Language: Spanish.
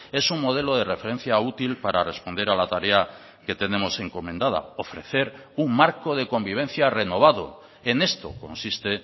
es un modelo de referencia útil para responder a la tarea que tenemos encomendada ofrecer un marco de convivencia renovado en esto consiste